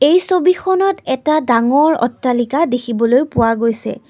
এই ছবিখনত এটা ডাঙৰ অট্টালিকা দেখিবলৈ পোৱা গৈছে।